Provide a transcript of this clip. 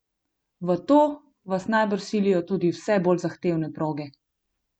V to vas najbrž silijo tudi vse bolj zahtevne proge?